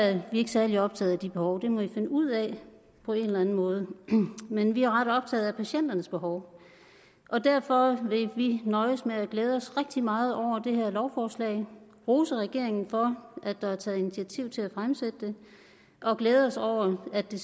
er vi ikke særlig optaget af de behov det må i finde ud af på en eller anden måde men vi er ret optaget af patienternes behov derfor vil vi nøjes med at glæde os rigtig meget over det her lovforslag rose regeringen for at der er taget initiativ til at fremsætte det og glæde os over at det